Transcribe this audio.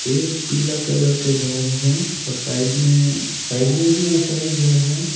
एक पीला कलर का घर है और साइड में साइड में भी वैसा ही घर है।